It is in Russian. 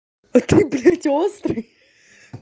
а ты блядь острый